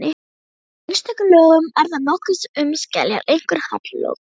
Í einstökum lögum er þar nokkuð um skeljar, einkum hallloku.